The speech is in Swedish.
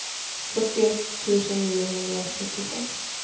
fyrtioett tusen niohundrasjuttiosex